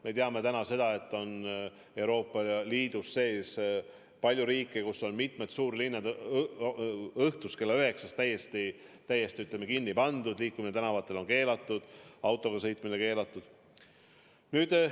Me teame täna seda, et Euroopa Liidus on palju riike, kus on mitmed suurlinnad õhtul kella üheksast täiesti kinni pandud, liikumine tänavatel on keelatud, isegi autoga sõitmine on keelatud.